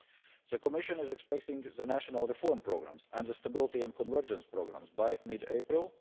end of April. The Commission is expecting the national reform programmes and the stability and convergence programmes